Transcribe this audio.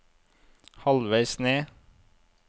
halvveis ned